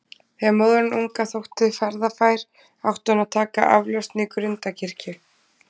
Þegar móðirin unga þótti ferðafær, átti hún að taka aflausn í Grundarkirkju.